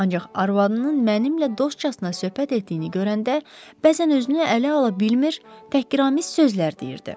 Ancaq arvadının mənimlə dostcasına söhbət etdiyini görəndə bəzən özünü ələ ala bilmir, təhqiramiz sözlər deyirdi.